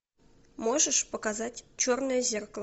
можешь показать черное зеркало